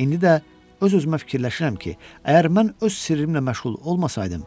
İndi də öz-özümə fikirləşirəm ki, əgər mən öz sirrimlə məşğul olmasaydım,